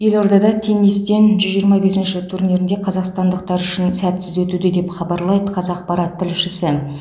елордада теннистен жүз жиырма бесінші турнирінде қазақстандықтар үшін сәтсіз өтуде деп хабарлайды қазақпарат тілшісі